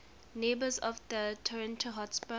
neighbours tottenham hotspur